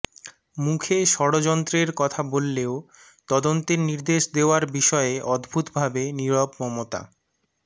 মুখে ষঢ়যন্ত্রের কথা বললেও তদন্তের নির্দেশ দেওয়ার বিষয়ে অদ্ভুত ভাবে নিরব মমতা